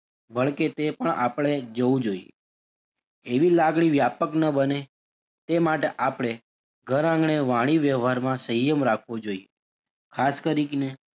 વળી કે તે પણ આપડે જવું જોઈએ એવી લાગણી વ્યાપક નાં બને તે માટે આપડે ઘર આંગણે વાણી - વ્યવહારમાં સંયમ રાખવો જોઈએ. ખાસ કરીને,